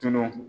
Tunun